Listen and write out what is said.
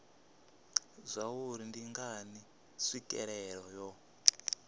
zwauri ndi ngani tswikelelo yo